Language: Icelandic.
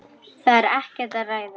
Það er ekkert að ræða.